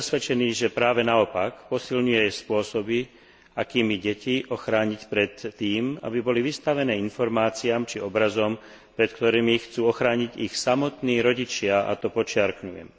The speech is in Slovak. Som presvedčený, že práve naopak posilňuje spôsoby, akými deti ochrániť pred tým, aby boli vystavené informáciám či obrazom, pred ktorými ich chcú ochrániť ich samotní rodičia, a to podčiarkujem.